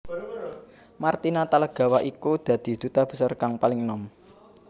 Marty Natalegawa iku dadi Duta Besar kang paling enom